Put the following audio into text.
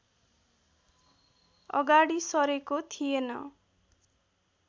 अगाडि सरेको थिएन